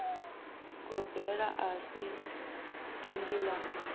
gobela a si dindi la